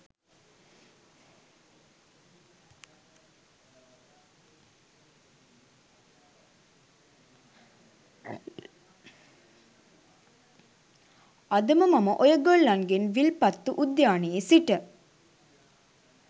අදට මම ඔයගොල්ලන්ගෙන් විල්පත්තු උද්‍යානයේ සිට